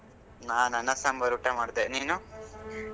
ನಾನ್ ಅನ್ನ ಸಾಂಬಾರ್ ಊಟ ಮಾಡ್ದೆ. ನೀನು?